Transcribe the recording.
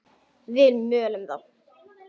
Við mölum þá!